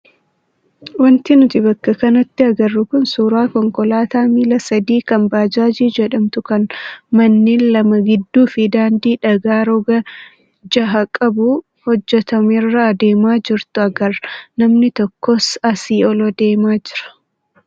Wanti nuti bakka kanatti agarru kun suuraa konkolaataa miila sadii kan baajaajii jedhamtu kan manneen lama gidduu fi daandii dhagaa roga jaha qabuu hojjatamerra adeemaa jirtu agarra. Namni tokkos asii ol deemaa jira.